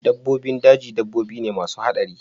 Dabbobin daji dabbobi ne masu haɗari